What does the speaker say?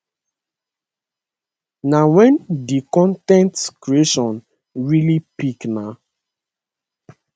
na wen di con ten t creation really pick na